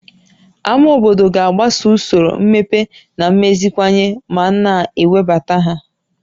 Ámá obodo ga-agbaso usoro mmepe na mmeziwanye ma a na-ewebata ha